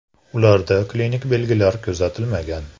Ularda klinik belgilar kuzatilmagan.